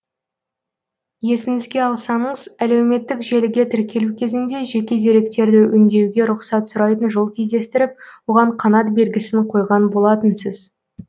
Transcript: есіңізге алсаңыз әлеуметтік желіге тіркелу кезінде жеке деректерді өңдеуге рұқсат сұрайтын жол кездестіріп оған қанат белгісін қойған болатынсыз